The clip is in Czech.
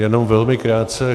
Jenom velmi krátce.